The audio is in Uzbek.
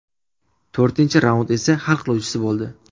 To‘rtinchi raund esa hal qiluvchisi bo‘ldi.